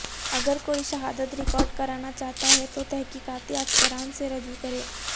اگر کوئی شہادت ریکارڈ کرانا چاہتا ہے تو تحقیقاتی افسران سے رجوع کرے